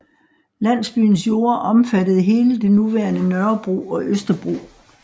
Landsbyens jorder omfattede hele det nuværende Nørrebro og Østerbro